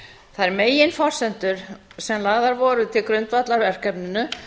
þær megin forsendur sem lagðar voru til grundvallar verkefninu